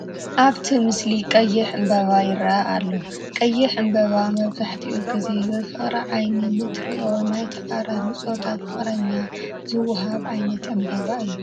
ኣብቲ ምስሊ ቀይሕ ዕምበባ ይርአ ኣሎ፡፡ ቀይሕ ዕምባባ መብዛሕትኡ ግዜ ብፍቕሪ ዓይኒ ንእትርእዮ ናይ ተቓራኒ ፆታ ፍቕረኛ ዝወሃብ ዓይነት ዕምባባ እዩ፡፡